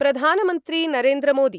प्रधानमन्त्री नरेन्द्रमोदी